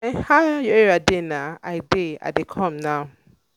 o boy how your area dey now? i dey dey come now.